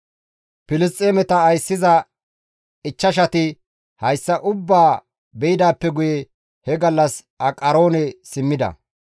Filisxeemeta ayssiza ichchashati hessa ubbaa beydaappe guye he gallas Aqaroone simmida.